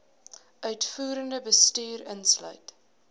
uitvoerende bestuur insluit